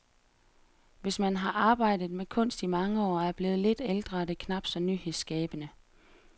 Hvis man har arbejdet med kunst i mange år og er blevet lidt ældre er det knap så nyhedsskabende.